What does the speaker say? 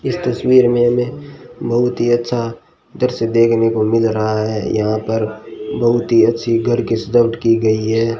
इस तस्वीर में हमें बहुत ही अच्छा दृश्य देखने को मिल रहा है यहां पर बहुत ही अच्छी घर की सजावट की गई है।